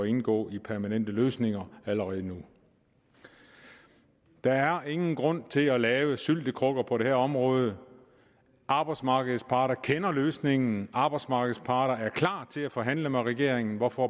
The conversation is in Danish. indgå i permanente løsninger allerede nu der er ingen grund til at lave syltekrukker på det her område arbejdsmarkedets parter kender løsningen arbejdsmarkedets parter er klar til at forhandle med regeringen hvorfor